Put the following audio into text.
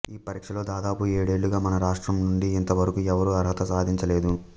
ఈ పరీక్షలొ దాదాపు ఏడేళ్ళుగా మన రాష్ట్రం నుండి ఇంతవరకూ ఎవ్వరూ అర్హత సాధించలేదు